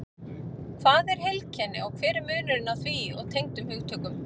Hvað er heilkenni og hver er munurinn á því og tengdum hugtökum?